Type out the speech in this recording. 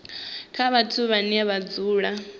kha vhathu vhane vha dzula